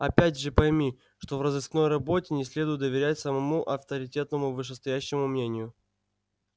опять же пойми что в розыскной работе не следует доверять самому авторитетному вышестоящему мнению